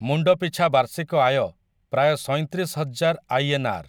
ମୁଣ୍ଡପିଛା ବାର୍ଷିକ ଆୟ ପ୍ରାୟ ସଇଁ ତିରିଶହଜାର ଆଇ.ଏନ୍‌.ଆର୍‌. ।